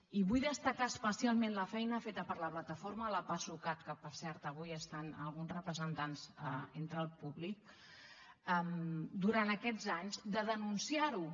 i vull destacar especialment la feina feta per la plataforma pasucat que per cert avui estan alguns representants entre el públic durant aquests anys de denunciar ho